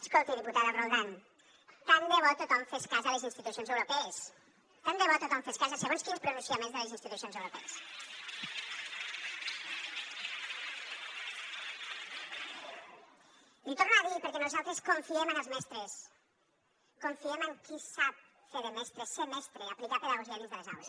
escolti diputada roldán tant de bo tothom fes cas de les institucions europees tant de bo tothom fes cas de segons quins pronunciaments de les institucions europees l’hi torno a dir perquè nosaltres confiem en els mestres confiem en qui sap fer de mestre ser mestre aplicar pedagogia dins de les aules